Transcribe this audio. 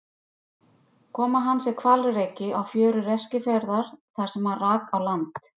Koma hans er hvalreki á fjörur Eskifjarðar þar sem hann rak á land.